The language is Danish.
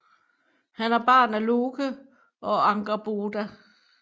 Han er barn af Loke og Angerboda